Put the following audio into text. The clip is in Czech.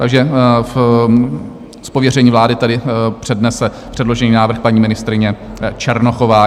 Takže z pověření vlády tady přednese předložený návrh paní ministryně Černochová.